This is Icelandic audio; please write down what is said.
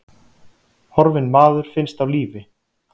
Horfinn maður finnst á lífi